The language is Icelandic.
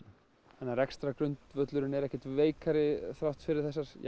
þannig að rekstrargrundvöllurinn er ekkert veikari þrátt fyrir þessar